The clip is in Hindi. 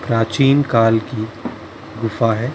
प्राचीन काल की गुफा हैं ।